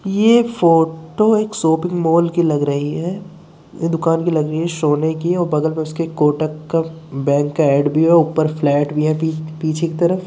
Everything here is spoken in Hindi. ये फोटो एक शोपिंग मॉल की लग रही है। दुकान लग रही है सोने की बगल में उसके कोटक का बैंक का ऐड भी है। ऊपर फ्लैट भी है। पीछे की तरफ।